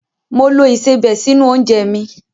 Mo lo ìsebẹ̀ sínú oúnjẹ mi.